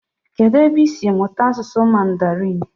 Kedụ ebe isi mụta asụsụ mandarin?